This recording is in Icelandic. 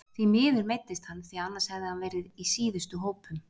Því miður meiddist hann því annars hefði hann verið í síðustu hópum.